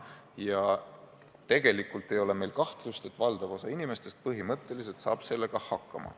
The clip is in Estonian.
Ja tegelikult ei ole meil kahtlust, et valdav osa inimesi saab sellega põhimõtteliselt hakkama.